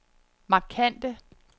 markante